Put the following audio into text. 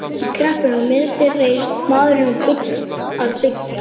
Í kreppunni miðri réðist maðurinn í að byggja.